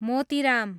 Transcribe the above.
Motiram